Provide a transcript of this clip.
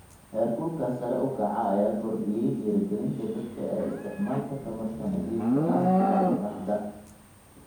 Heerkulka sare u kaca ayaa kordhiyey dhiirigelinta dadka ee isticmaalka tamarta nadiifka ah sida qorraxda.